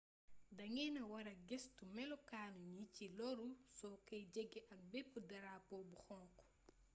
nda ngeena wara gëstu melokaanu ñi ci loru so koy jege ak bépp darapo bu xonk